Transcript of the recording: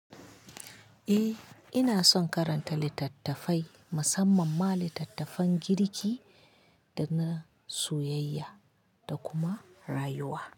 Eh, ina son karanta littattafai musamman ma littattafan girki da na soyayya da kuma rayuwa.